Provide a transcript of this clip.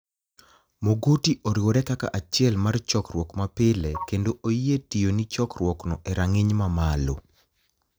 Mogoti oriwore kaka achiel mar chokruok mapile kenido oyie tiyoni e chorkruokno eraniginiy mamalo.